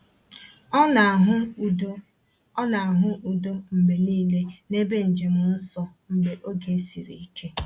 O na-ahụ udo O na-ahụ udo mgbe niile n’ebe njem nsọ mgbe oge siri ike.